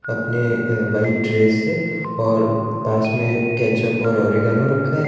अपने अह white dress से और पास मे केचअप और ऑरिगेनो रखा है।